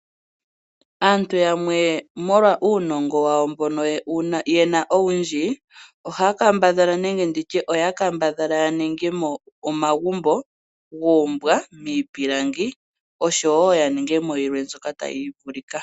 Aantu yamwe molwa uunongo wawo mbono yena owundjii oya kambadhala yaninge mo omagumbo guumbwa miipilangi osho woo yaningemo yilwe mbyoka tayi vulika.